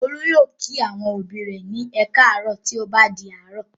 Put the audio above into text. Olú yóò kí àwọn òbí rẹ̀ ní "ẹ káàárọ̀" tí ó bá di àárọ̀.